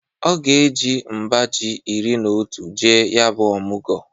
Ọ ga-eji mba ji iri n'otu jee ya bụ ọmụgọ.